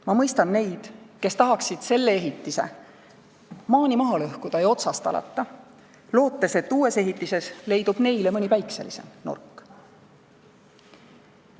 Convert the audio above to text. Ma mõistan neid, kes tahaksid selle ehitise maani maha lõhkuda ja otsast alata, lootes, et uues ehitises leidub neile mõni päikselisem nurk.